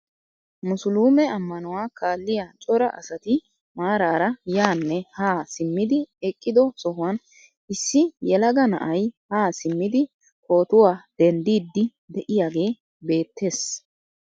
Musuluume ammanuwaa kaalliyaa cora asati maarara yaanne haa simmidi eqqido sohuwaan issi yelaga na'ay haa siimmidi pootuwaa denddiidi de'iyaagee beettees.